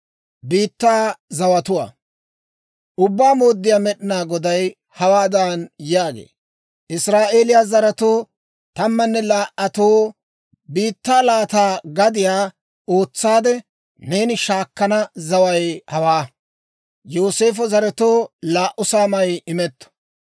Ubbaa Mooddiyaa Med'inaa Goday hawaadan yaagee; «Israa'eeliyaa zaretoo tammanne laa"atoo biittaa laata gadiyaa ootsaade, neeni shaakana zaway hawaa. Yooseefo zaretoo laa"u saamay imetto.